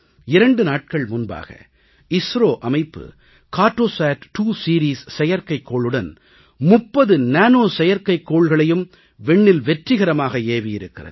2 நாட்கள் முன்பாக இந்திய விண்வெளி ஆராய்ச்சி நிறுவனம் இஸ்ரோ நிறுவனம் கார்ட்டோசாட்2 செயற்கைக்கோளுடன் 30 நானோ செயற்கைக்கோள்களையும் விண்ணில் வெற்றிகரமாக ஏவியிருக்கிறது